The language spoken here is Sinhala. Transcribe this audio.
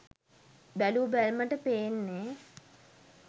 බැලූ බැල්මට පේන්නේ!